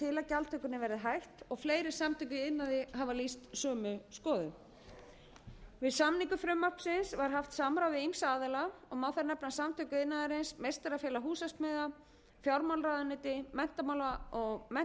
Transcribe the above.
gjaldtökunni verði hætt og fleiri samtök í iðnaði hafa lýst sömu skoðun við samningu frumvarpsins var haft samráð við ýmsa aðila már þar nefna samtök iðnaðarins meistarafélag húsasmiða fjármálaráðuneyti mennta og